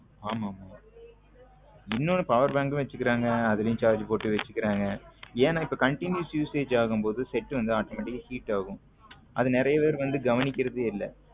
ஆமாமா இன்னொன்னு power bank வச்சுக்குறாங்க அதுலயும் charge போட்டு வச்சிருக்காங்க ஏன்னா இப் continuous usage ஆகும் போது set வந்து automatic ஆ heat ஆகும் அது நிறைய பேரு வந்து கவனிக்கிறது இல்ல.